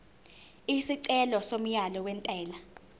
isicelo somyalo wentela